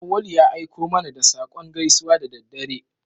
Auwalu ya aiko mana da saƙon gaisuwa da daddare.